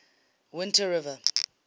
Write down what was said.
whiteriver